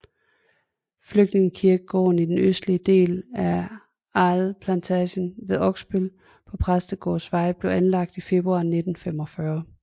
Flygtningekirkegården i den østlige del af Aal Plantage ved Oksbøl på Præstegårdsvej blev anlagt i februar 1945